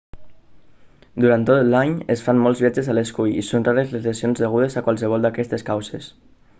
durant tot l'any es fan molts viatges a l'escull i són rares les lesions degudes a qualsevol d'aquestes causes